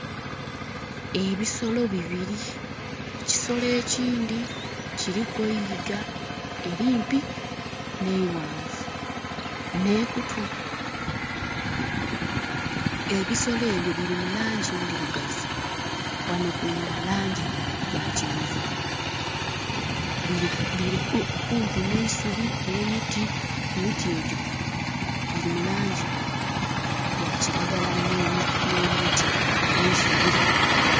Ebisolo bibiri, ekisolo ekindhi kiliku eyiga elimpi n'eighanvu ne kutu. Ebisolo ebyo biri mulangi endhirugavu ghano kunda langi ya kyenvu. Bili kumpi n'eisubi ne miti, emiti egyo giri mu langi ya kiragala n'emiti...n'eisubi.